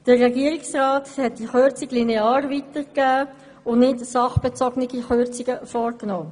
Der Regierungsrat hat diese Kürzung linear weitergegeben und keine sachbezogenen Kürzungen vorgenommen.